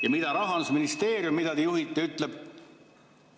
Ja mida Rahandusministeerium, mida te juhite, ütleb?